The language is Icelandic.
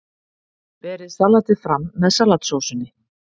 Berið salatið fram með salatsósunni.